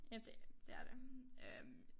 Ja det det er det øh